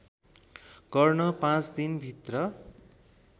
गर्न पाँच दिनभित्र